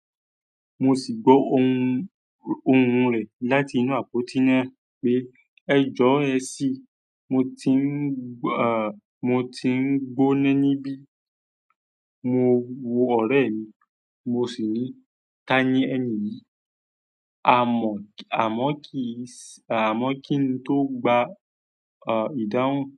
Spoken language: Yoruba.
Mo sì gbó ohùn, ohùn rẹ̀ láti inú àpótí náà pé, "ẹjọ́ ẹ sì, mo ti ń, à, mo ti ń gbóná níbí." Mo wo ọ̀rẹ́ mi, mo sì ní, "ta ni ẹ́ni yìí?" "Àmọ́, àmọ́ kì í, àmọ́ kí n tó gba, à, ìdáhùn."